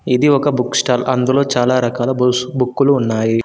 ఇది ఒక book stall అందులో చాలా రకాల బుక్కులు ఉన్నాయి.